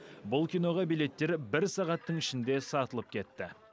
бұл киноға билеттер бір сағаттың ішінде сатылып кетті